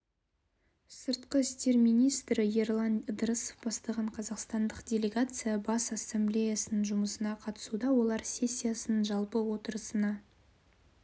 сыртқы істер министрі ерлан ыдырысов бастаған қазақстандық делегация бас ассамблеясының жұмысына қатысуда олар сессияның жалпы отырысына